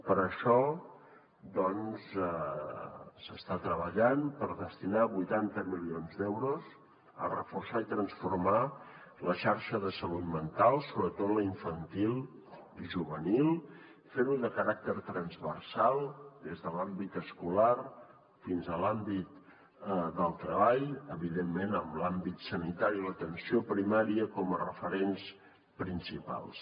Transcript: per això doncs s’està treballant per destinar vuitanta milions d’euros a reforçar i transformar la xarxa de salut mental sobretot la infantil i juvenil fer ho de caràcter transversal des de l’àmbit escolar fins a l’àmbit del treball evidentment amb l’àmbit sanitari i l’atenció primària com a referents principals